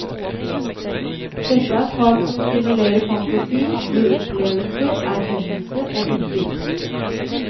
Dette er fag som stimulerer fantasi, gir opplevelser, erkjennelse og innsikt.